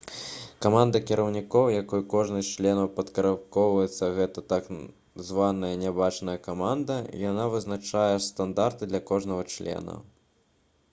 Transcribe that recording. каманда кіраўнікоў якой кожны з членаў падпарадкоўваецца — гэта так званая «нябачная каманда». яна вызначае стандарты для кожнага члена